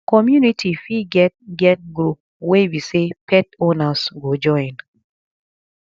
community fit get get group wey be sey pet owners go join